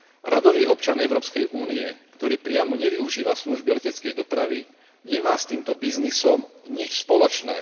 Radový občan Európskej únie, ktorý priamo nevyužíva služby leteckej dopravy, nemá s týmto biznisom nič spoločné.